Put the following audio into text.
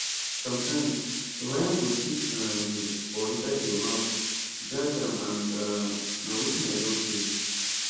sometimes di wires go chook um you for inside your mouth drag am and um na wetin i don face